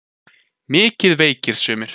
Mikið veikir sumir.